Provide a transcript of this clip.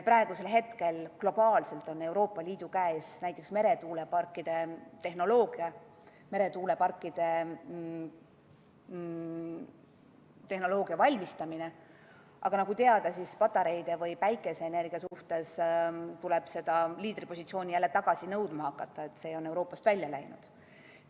Praegusel hetkel on globaalselt Euroopa Liidu käes näiteks meretuuleparkide tehnoloogia ja selle valmistamine, aga patareide või päikeseenergia puhul tuleb seda liidripositsiooni jälle tagasi nõudma hakata, see on Euroopast välja läinud.